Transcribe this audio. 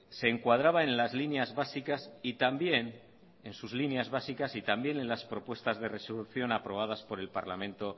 se encuadraba en las líneas básicas y también en las propuestas de resolución aprobadas por el parlamento